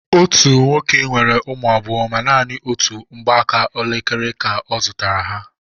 Otú nwoke nwere ụmụ abụọ ma nanị otú mgbaaka elekere ka ọ zụtara ha.